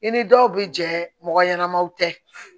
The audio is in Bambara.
I ni dɔw bɛ jɛ mɔgɔ ɲɛnamaw tɛ